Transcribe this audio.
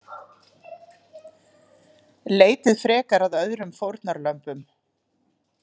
Leitið frekar að öðrum fórnarlömbum.